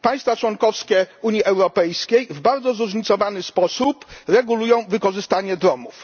Państwa członkowskie Unii Europejskiej w bardzo zróżnicowany sposób regulują wykorzystanie dronów.